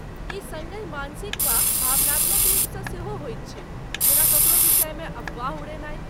ई सङ्गहि मानसिक वा भावनात्मक रुपसँ सेहो होइत छै, जेना ककरो विषयमे अफवाह उड़ेनाइ।